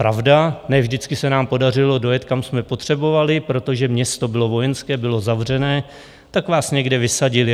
Pravda, ne vždycky se nám podařilo dojet, kam jsme potřebovali, protože město bylo vojenské, bylo zavřené, tak vás někde vysadili.